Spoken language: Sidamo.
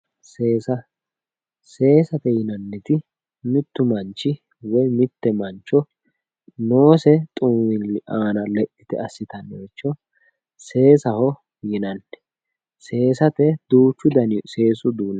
seesa seesate yinaniti mittu manch woye mitte mancho noose xumilli aana lexxite asitanoricho seesaho yinanni seesate duuchu dani seesu uduuni no